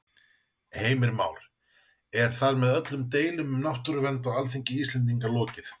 Heimir Már: Er þar með öllum deilum um náttúruvernd á Alþingi Íslendinga lokið?